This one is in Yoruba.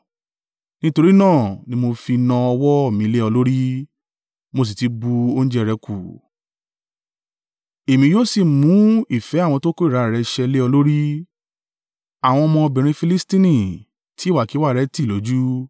Nítorí náà ni mo fi na ọwọ́ mi lé ọ lórí, mo sì ti bu oúnjẹ rẹ̀ kù; èmi yóò sì mú ìfẹ́ àwọn to kórìíra rẹ ṣẹ́ lé ọ lórí, àwọn ọmọbìnrin Filistini ti ìwàkiwà rẹ tì lójú.